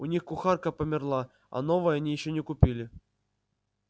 у них кухарка померла а новой они ещё не купили